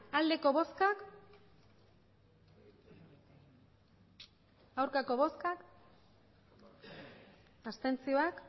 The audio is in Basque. emandako botoak hirurogeita